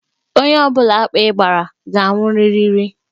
Onye ọ bụla akpị gbara, ga anwụrịrị.